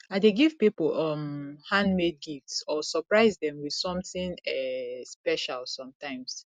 i dey give people um handmade gifts or surprise dem with something um special sometimes